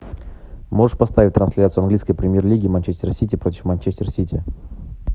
можешь поставить трансляцию английской премьер лиги манчестер сити против манчестер сити